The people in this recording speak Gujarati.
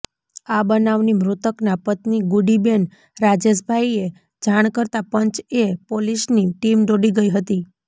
આ બનાવની મૃતકના પત્ની ગુડીબેન રાજેશભાઈએ જાણ કરતા પંચ એ પોલીસની ટીમ દોડી ગઈ હતી